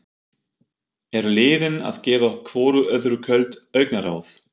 Eru liðin að gefa hvoru öðru köld augnaráð?